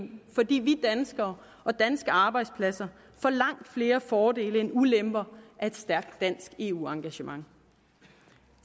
fordi vi danskere og danske arbejdspladser får langt flere fordele end ulemper af et stærkt dansk eu engagement